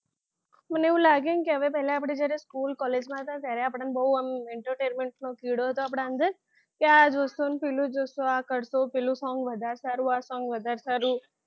મને એવું લાગે કે પહેલા આપણે જ્યારે school college માં હતા ત્યારે બહુ આમ entertenrment નો કીડો હતો આપણા અંદર કે આ જોશું ને પહેલું જોશું ને આ કરશું ને પેલું song વધારે સારું આ song વધારે સારું